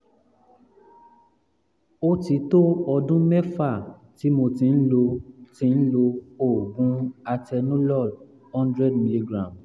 ó ti tó ọdún mẹ́fà tí mo ti ń lo ti ń lo oògùn atenolol hundred milligram